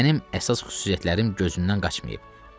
Mənim əsas xüsusiyyətlərim gözümdən qaçmayıb.